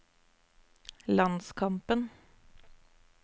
landskampen